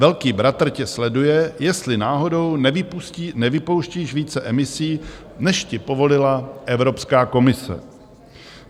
Velký bratr tě sleduje, jestli náhodou nevypouštíš více emisí, než ti povolila Evropská komise.